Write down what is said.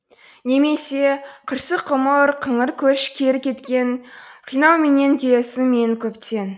немесе қырсық ғұмыр қыңыр көш кері кеткен қинауменен келесің мені көптен